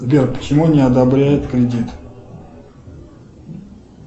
сбер почему не одобряют кредит